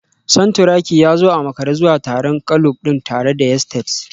Santuraki ya zo a makare zuwa taron kulob din tare da yesteds